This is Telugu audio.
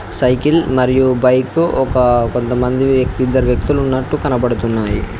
సైకిల్ మరియు బైకు ఒక కొంతమంది వ్యక్తి ఇద్దరు వ్యక్తులు ఉన్నట్టు కనపడుతున్నాయి.